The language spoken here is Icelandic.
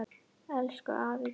Elsku afi Gísli.